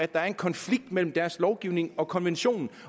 der er en konflikt mellem deres lovgivning og konventionen